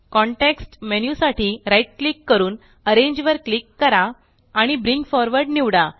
context menu साठी right click करून arrange वर क्लिक करा आणि ब्रिंग फॉरवर्ड निवडा